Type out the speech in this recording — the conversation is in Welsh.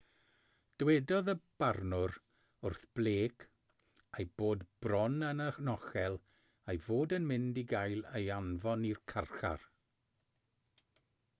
dywedodd y barnwr wrth blake ei bod bron yn anochel ei fod yn mynd i gael ei anfon i'r carchar